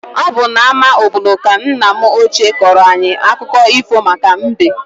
Ọ bụ n'ama obodo ka nna m ochie kọọrọ anyị akụkọ ifo maka mbe.